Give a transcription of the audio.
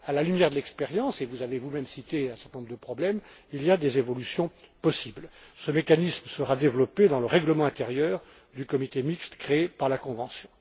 À la lumière de l'expérience, et vous avez cité un certain nombre de problèmes, il y a des évolutions possibles. Ce mécanisme sera développé dans le règlement intérieur du comité mixte créé par la convention.